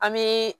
An bɛ